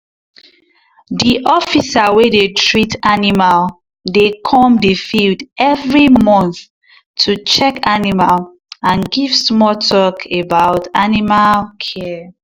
the officer wey dey treat animal dey come the field every month to check animal and give small talk about animal care.